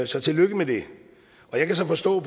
så tillykke med det jeg kan så forstå